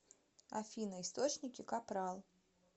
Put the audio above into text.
афина источники капрал